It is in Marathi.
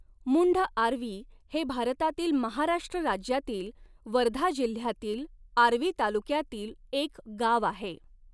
मुंढआर्वी हे भारतातील महाराष्ट्र राज्यातील वर्धा जिल्ह्यातील आर्वी तालुक्यातील एक गाव आहे.